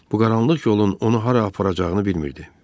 Bu qaranlıq yolun onu hara aparacağını bilmirdi.